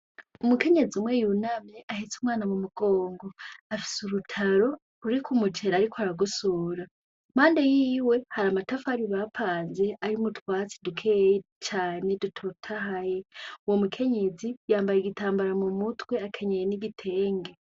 Umukenyezi umwe yunamye ahetse umwana mu mugongo afise urutaro ruriko umuceri ariko aragosora. Mpande yiwe hari amatafari bapanze arimwo utwatsi dukeya cane dutotahaye uwo mukenyezi yambaye igitambara mumutwe akenyeye n'igitenge.